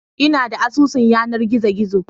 Ina da asusun yanar gizo gizo